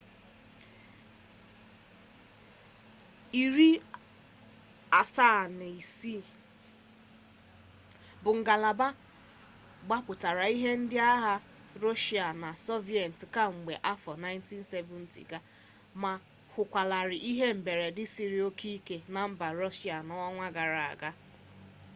il-76 bụ ngalaba gbapụtara ihe nke ndị agha rọshịa na sọviyetị kamgbe afọ 1970 ga ma hụkwalarị ihe mberede siri oke ike na mba rọshịa n'ọnwa gara aga